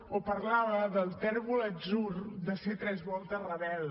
o parlava del tèrbol atzur de ser tres voltes rebel